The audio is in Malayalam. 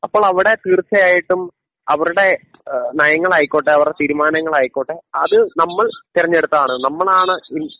അപ്പോൾ അവിടെ തീർച്ചയായിട്ടും അവരുടെ ഏഹ് നയങ്ങളായിക്കോട്ടെ അവരുടെ തീരുമാനങ്ങളായിക്കോട്ടെ അത് നമ്മൾ തെരഞ്ഞെടുത്തത് നമ്മളാണ് ഇ